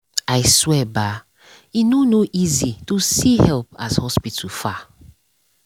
i swear bah e no no easy to see help as hospital far